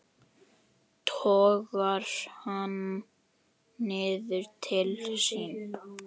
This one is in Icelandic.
Togar hann niður til sín.